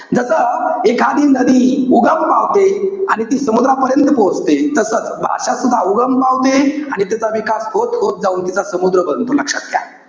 जस, एखादी नदी उगम पावते. आणि ती समुद्रापर्यंत पोचते. तसंच, भाषासुद्धा उगम पावते आणि त्याचा विकास होत-होत जाऊन तिचा समुद्र बनतो. लक्षात घ्या.